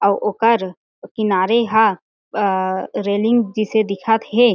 अउ ओकर किनारे हा अ रेलिंग जिसे दिखत हे।